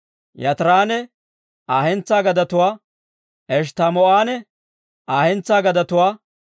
Yaatiranne Aa hentsaa gadetuwaa, Eshttamoo'anne Aa hentsaa gadetuwaa,